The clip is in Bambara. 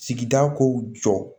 Sigida kow jɔ